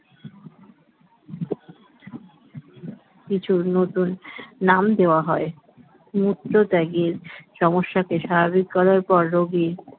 কিছু নতুন নাম দেওয়া হয় মূত্রত্যাগের সমস্যা কে স্বাভাবিক করার পর রোগীর